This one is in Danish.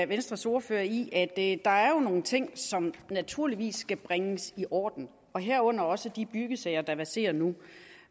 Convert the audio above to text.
venstres ordfører i at der jo er nogle ting som naturligvis skal bringes i orden herunder også de byggesager der verserer nu